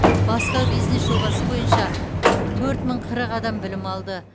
бастау бизнес жобасы бойынша төрт мың қырық адам білім алды